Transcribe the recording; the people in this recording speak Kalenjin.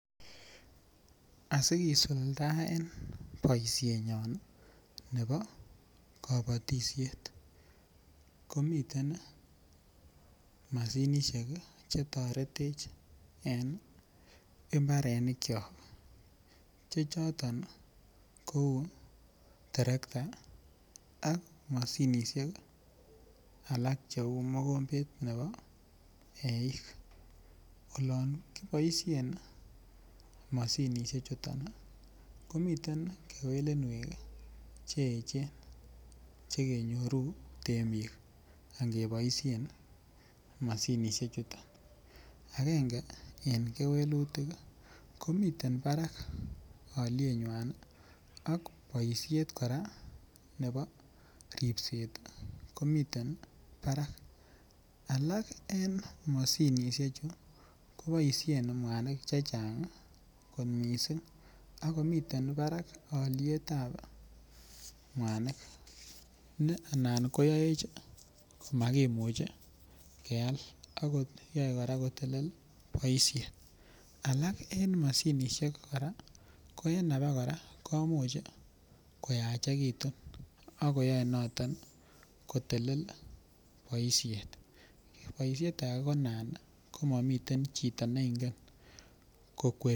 Asi kisuldaen boisinyon nebo kabatisiet ko miten mashinisiek Che toretech en mbarenikyok Che choton kou terekta ak mashinisiek alak Cheu mokombet nebo eik olon ki boisien mashinisiek chuto komiten kewelinwek Che echen Che kenyoru temik ange boisien ii mashinisiechuto agenge ko miten barak alyenywa ak boisiet kora nebo ripset ko miten barak alak en mashinisiechu ko boisien mwanik chechang kot mising ako miten barak alyet ab mwanik ne anan koyoech komakimuch keal ak koyoe kotelel boisiet alak en mashinisiek ko en abakora komuch koyachekitun ak yoe noton ko telel boisiet kewelutiet age ko anan komami chito ne ingen kokweri